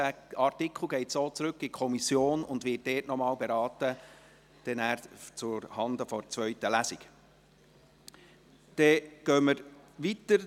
Dieser Absatz geht so in die Kommission zurück und wird dort noch einmal zuhanden der zweiten Lesung beraten.